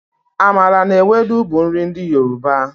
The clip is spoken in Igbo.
Amala na Ewedu bụ nri ndị Yoruba.